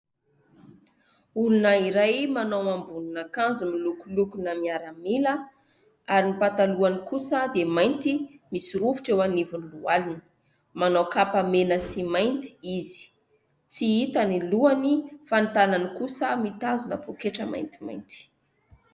Olona iray manao ambonina akanjo miloko lokona miaramila ary ny patalohany kosa dia mainty misy rovitra eo anivony lohaliny, manao kapa mena sy mainty izy, tsy hitany lohany fa ny tanany kosa mitazona poketra maintimainty.